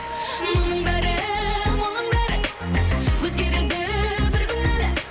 мұның бәрі мұның бәрі өзгереді бір күн әлі